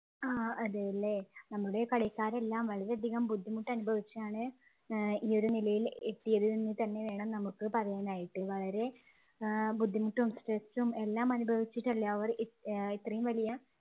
ആഹ് അതെയല്ലേ നമ്മളെ കളിക്കാരെല്ലാം വളരെയധികം ബുദ്ധിമുട്ട് അനുഭവിച്ചിട്ടാണ് ഏർ ഈ ഒരു നിലയിൽ എത്തിയത് എന്ന് തന്നെ വേണം നമുക്ക് പറയാൻ ആയിട്ട് വളരെ ഏർ ബുദ്ധിമുട്ടും stress ഉം എല്ലാം അനുഭവിച്ചിട്ടല്ലേ അവർ ഇ ഇത്രയും വലിയ